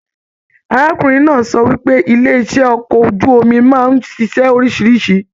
Arákùnrin náà sọ wípé ilé iṣẹ okọ̀ ojú omi máa n ṣiṣẹ oríṣiríṣi.